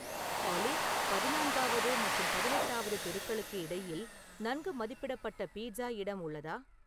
ஆலி பதினான்காவது மற்றும் பதினெட்டாவது தெருக்களுக்கு இடையில் நன்கு மதிப்பிடப்பட்ட பீட்ஸா இடம் உள்ளதா